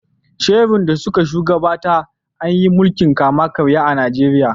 Sherun da suka shu gabata, an yi milkin kama karya a Najeriya.